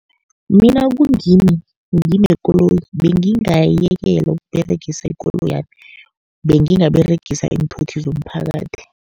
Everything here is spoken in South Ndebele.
Mina kungimi nginekoloyi bengingayekela ukuberegisa ikoloyami, bengingaberegisa iinthuthi zomphakathi.